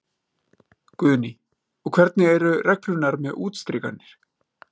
Guðný: Og hvernig eru reglurnar með útstrikanir?